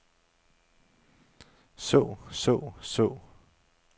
så så så